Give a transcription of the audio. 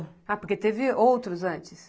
Ah, porque teve outros antes?